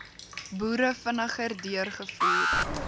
boere vinniger deurgevoer